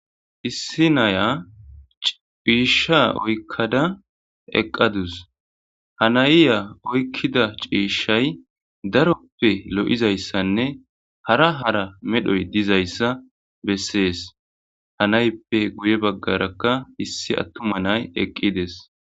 Issi naya cisha oyikada eqadus ha na'a oyikida cishayzi darope loizaysane hara hara medhoy dizaysa beses ha naepe guye bagaraka issi atuma na'ay eqides